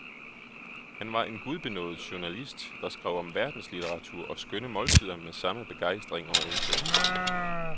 Han var en gudbenådet journalist, der skrev om verdenslitteratur og skønne måltider med samme begejstring og indsigt.